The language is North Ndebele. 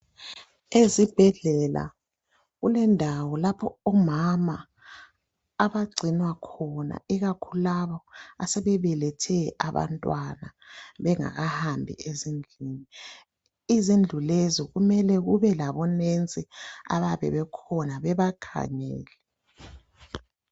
Ezibhedlela kulendawo lapho omama abagcinwa khona ikakhulu labo asebebelethe abantwana bengakahambi ezindlini. Izindlu lezi kumele kube labonesi babakhangele